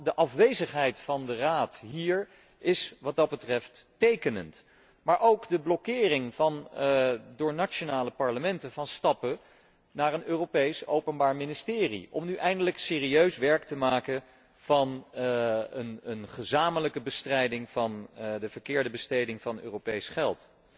De afwezigheid van de Raad hier is, wat dat betreft, tekenend, maar ook de blokkering door nationale parlementen van stappen naar een Europees openbaar ministerie om nu eindelijk serieus werk te maken van een gezamenlijke bestrijding van de verkeerde besteding van Europees geld.